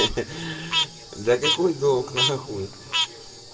да какой долг на хуй